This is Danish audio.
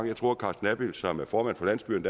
jeg tror at carsten abild som er formand for landsbyerne